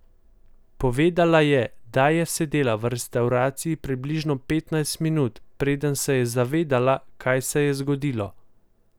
Povedala je, da je sedela v restavraciji približno petnajst minut, preden se je zavedela, kaj se je zgodilo.